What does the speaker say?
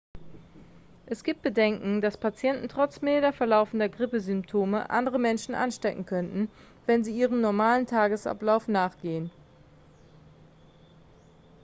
es gibt bedenken dass patienten trotz milder verlaufender grippesymptome andere menschen anstecken könnten wenn sie ihrem normalen tagesablauf nachgehen